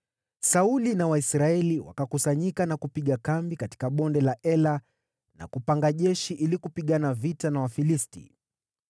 Sauli na Waisraeli wakakusanyika na kupiga kambi katika Bonde la Ela na kupanga jeshi ili kupigana vita na Wafilisti.